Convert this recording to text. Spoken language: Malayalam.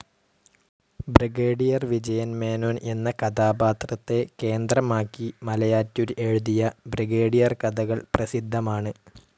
ബ്രിഗേഡിയർ വിജയൻ മേനോൻ എന്ന കഥാപാത്രത്തെ കേന്ദ്രമാക്കി മലയാറ്റൂർ എഴുതിയ ബ്രിഗേഡിയർ കഥകൾ പ്രസിദ്ധമാണ്.